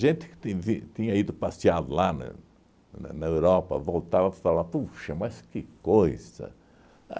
que tinde tinha ido passear lá na na na Europa voltava e falava, puxa, mas que coisa!